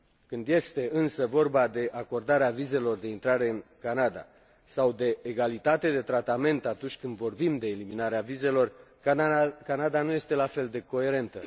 Când este, însă, vorba de acordarea vizelor de intrare în Canada sau de egalitate de tratament atunci când vorbim de eliminarea vizelor, Canada nu este la fel de coerentă.